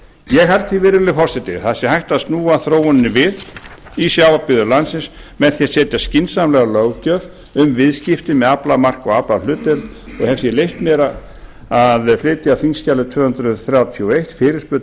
ég held því virðulegi forseti að það sé hægt að snúa þróuninni við í sjávarbyggðum landsins með því að setja skynsamlega löggjöf um viðskipti með aflamark og aflahlutdeild og hef því leyft mér að flytja á þingskjali tvö hundruð þrjátíu og eina fyrirspurn til